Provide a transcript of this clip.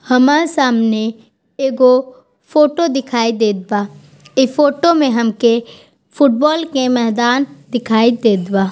हमर सामने एगो फोटो दिखाई देत बा इ फोटो मे हमके फुटबॉल के मैदान दिखाई देत बा।